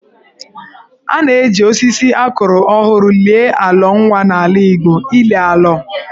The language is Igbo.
A na-eji osisi a kụrụ ọhụrụ lie alọ nwa n'ala Igbo (ili alọ).